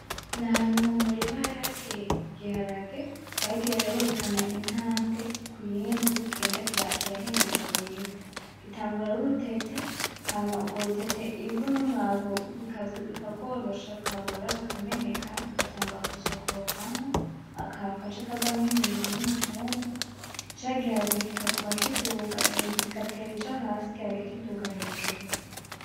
N'ahantu mu murima hari hateye igiharage, bagiye barerekana intambwe kuyindi uko kigenda kirahingugwa mw'ivu, gitangura ar'urutete hama urwo rutete ivu n'umwavu bikagworosha; rukabora; rukameneka; rugatangura gusokorokamwo akantu gaca kavamwo imizi n'umutumba, ca giharage kikaguma kiduga imizi igatera ija hasi igiharage kiduga hejuru.